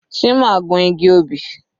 Chima gun igi obì.